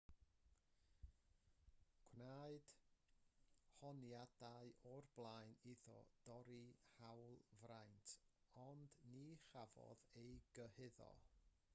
gwnaed honiadau o'r blaen iddo dorri hawlfraint ond ni chafodd ei gyhuddo